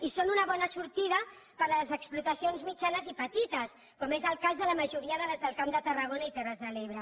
i són una bona sortida per a les explotacions mitjanes i petites com és el cas de la majoria de les del camp de tarragona i terres de l’ebre